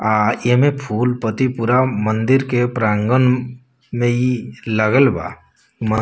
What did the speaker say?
आ इ में फूल पत्ती पुरा मंदिर के प्रांगण में इ लगल बा। म --